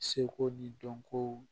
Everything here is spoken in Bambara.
Seko ni dɔnko